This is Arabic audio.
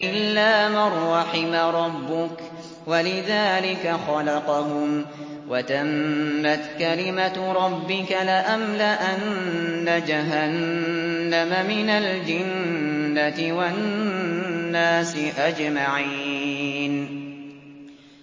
إِلَّا مَن رَّحِمَ رَبُّكَ ۚ وَلِذَٰلِكَ خَلَقَهُمْ ۗ وَتَمَّتْ كَلِمَةُ رَبِّكَ لَأَمْلَأَنَّ جَهَنَّمَ مِنَ الْجِنَّةِ وَالنَّاسِ أَجْمَعِينَ